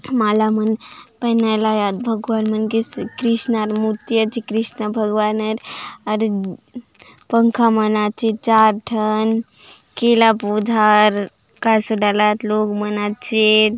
माला मन पहनाय ला आत भगवान मन के कृष्णार मूर्ति आचे कृष्ण भगवानर आउर पंखा मन आचे चार ठन केला पौधार काय सोंगाय ला आत लोग मन आचेत ।